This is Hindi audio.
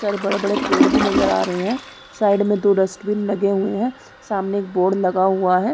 सारे बड़े-बड़े पेड़ भी नजर आ रहे हैं साइड में दो डस्ट बीन लगे हुए हैं सामने एक बोर्ड लगा हुआ है।